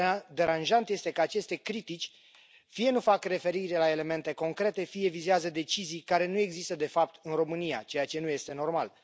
Deranjant este că aceste critici fie nu fac referire la elemente concrete, fie vizează decizii care nu există de fapt în România, ceea ce nu este normal.